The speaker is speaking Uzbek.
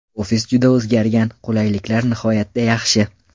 Ofis juda o‘zgargan, qulayliklar nihoyatda yaxshi.